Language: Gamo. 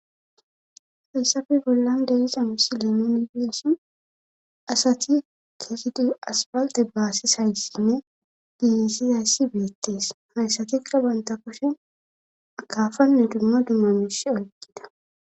Faysafi bollan deyiza misi limo nipiyessin asati keekidu aspalte baassis hayssinne diiyisi hayssi beettees hayssatekka banta koshen akafanne dummo dummamish oykkida.